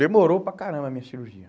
Demorou para caramba a minha cirurgia.